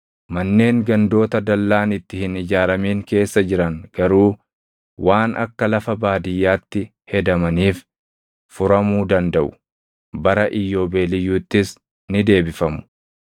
Manneen gandoota dallaan itti hin ijaaramin keessa jiran garuu waan akka lafa baadiyyaatti hedamaniif furamuu dandaʼu. Bara Iyyoobeeliyyuuttis ni deebifamu.